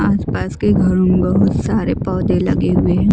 आसपास के घरों में बहुत सारे पौधे लगे हुए हैं।